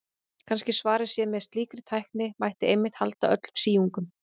Kannski svarið sé að með slíkri tækni mætti einmitt halda öllum síungum.